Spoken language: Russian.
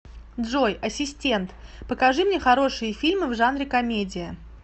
джой ассистент покажи мне хорошие фильмы в жанре комедия